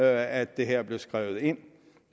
at det her blev skrevet ind